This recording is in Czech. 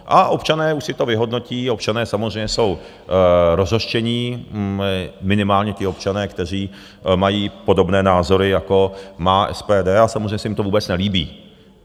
A občané už si to vyhodnotí, občané samozřejmě jsou rozhořčení, minimálně ti občané, kteří mají podobné názory jako má SPD a samozřejmě se jim to vůbec nelíbí.